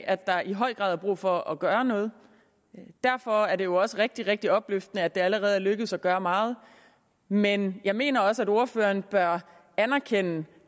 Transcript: af at der i høj grad er brug for at gøre noget derfor er det jo også rigtig rigtig opløftende at det allerede er lykkedes at gøre meget men jeg mener også at ordføreren bør erkende